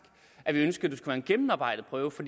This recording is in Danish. at vi ønskede at være en gennemarbejdet prøve for